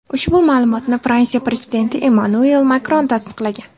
Ushbu ma’lumotni Fransiya prezidenti Emmanuel Makron tasdiqlagan .